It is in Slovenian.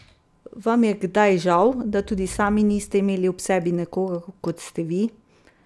Vam je kdaj žal, da tudi sami niste imeli ob sebi nekoga, kot ste vi?